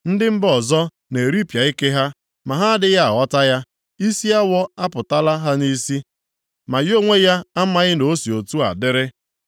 Ndị mba ọzọ na-eripịa ike ha, ma ha adịghị aghọta ya. Isi awọ apụtala ha nʼisi, ma ya onwe ya amaghị na o si otu a dịrị.